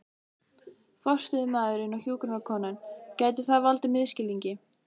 forstöðumaðurinn og hjúkrunarkonan, gæti það valdið misskilningi.